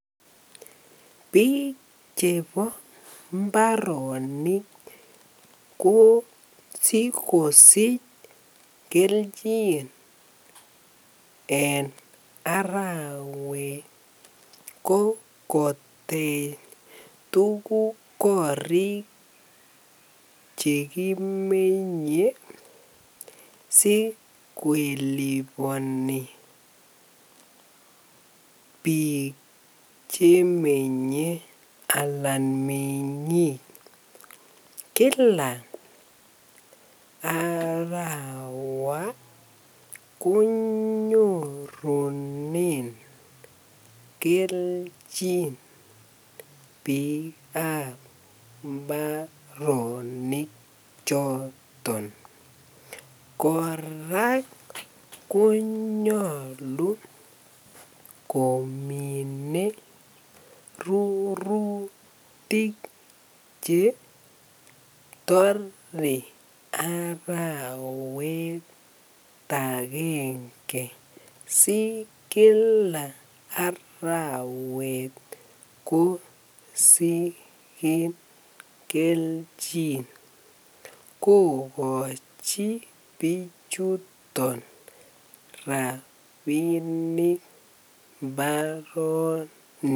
Biik chebo mbarenik ko sikosich kelchin en arawet ko kotech tukuk korik chekimenye sikeliboni biik chemenye alaan mengik kila arawa konyorunen kelchin biikab mbaroni choton, kora konyolu komine rurutik chetore arawet akenge si kila arawet kosiken kelchin kokochi bichuton rabinik mbaronik.